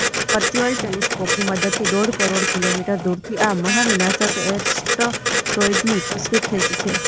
virtual ટેલિસ્કોપની મદદથી ડોઢ કરોડ કિલોમીટર દૂરથી આ મહાવિનાશક એસ્ટરોઇડની તસવીર ખેંચી છે